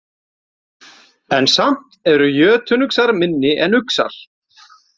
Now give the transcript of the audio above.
En samt eru jötunuxar minni en uxar.